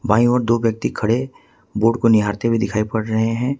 बाएं ओर दो व्यक्ति खड़े बोर्ड को निहारते हुए दिखाई पड़ रहे है।